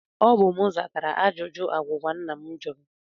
Ọ bụ m zatara ajụjụ agwụgwa nna m jụrụ